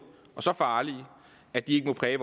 og så farlige at de ikke må præge